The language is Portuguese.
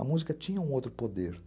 A música tinha um outro poder.